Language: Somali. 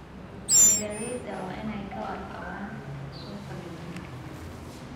Beeralayda waa inay ka warqabaan suuqa deegaanka.